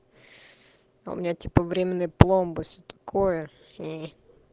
у меня типа временной пломбы что такое